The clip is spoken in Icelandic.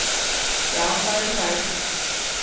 Já, það eru þær.